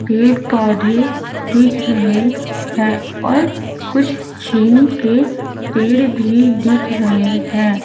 पेड़-पौधे दिख रहे है और कुछ छीन के पेड़ भी दिख रहे है।